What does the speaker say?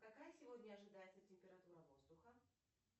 какая сегодня ожидается температура воздуха